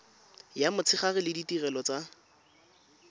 ya motshegare le ditirelo tsa